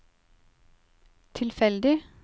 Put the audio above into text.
tilfeldig